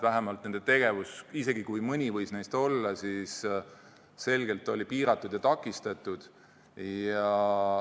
Vähemalt oli nende tegevus, isegi kui mõni võis neist kohal olla, ilmselgelt piiratud ja takistatud.